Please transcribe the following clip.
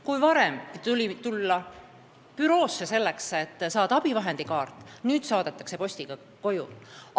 Kui varem tuli tulla büroosse, et saada abivahendikaart, siis nüüd saadetakse see postiga koju.